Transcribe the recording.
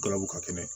Galabu ka kɛnɛ